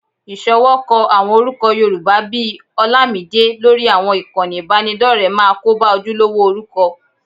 Ìṣọwọ́kọ àwọn orúkọ Yorùbá bí i Horlamide lórí àwọn ìkànnì ìbádọ́rẹ̀ẹ́ máa kóba ojúlówó orúkọ